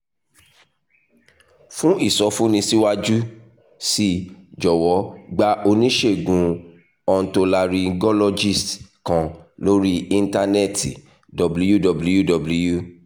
fún ìsọfúnni síwájú sí i jọ̀wọ́ gba oníṣègùn otolaryngologist kan lórí íńtánẹ́ẹ̀tì --> https://www